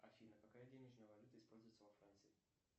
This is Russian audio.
афина какая денежная валюта используется во франции